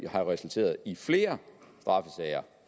har resulteret i flere